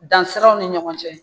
Dansiraw ni ɲɔgɔn cɛ